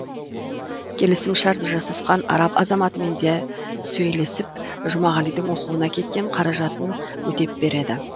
келісімшарт жасасқан араб азаматымен де сөйлесіп жұмағалидің оқуына кеткен қаражатын өтеп береді